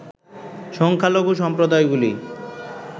সংখ্যালঘু সম্প্রদায়গুলি